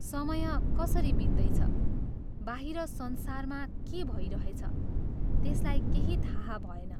समय कसरी बित्दैछ, बाहिर संसारमा के भै रहेछ, त्यसलाई केही थाह भएन।